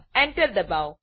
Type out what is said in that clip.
Enter એન્ટરદબાવો